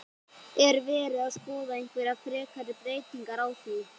Er verið að skoða einhverjar frekari breytingar á því?